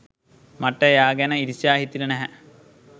මට එයා ගැන ඊර්ෂ්‍යා හිතිලා නැහැ.